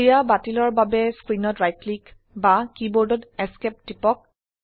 ক্ৰিয়া বাতিলৰ বাবে স্ক্ৰিনত ৰাইট ক্লিক বা কীবোৰ্ডত Esc টিপক